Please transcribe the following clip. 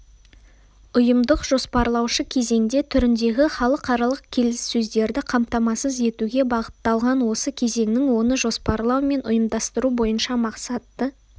ұйымдық-жоспарлаушы кезеңде түріндегі халықаралық келіссөздерді қамтамасыз етуге бағытталған осы кезеңнің оны жоспарлау мен ұйымдастыру бойынша мақсатты